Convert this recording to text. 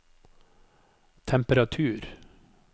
temperatur